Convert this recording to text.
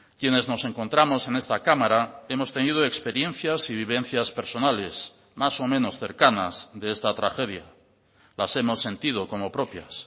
quienes nos encontramos en esta cámara hemos tenido experiencias y vivencias personales más o menos cercanas de esta tragedia las hemos sentido como propias